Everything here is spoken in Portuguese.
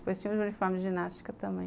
Depois tinha os uniformes de ginástica também.